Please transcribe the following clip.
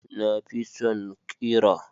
Na fi son ƙira.